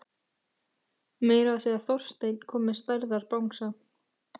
Meira að segja Þorsteinn kom með stærðar bangsa.